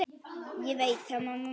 Ég veit það mamma mín.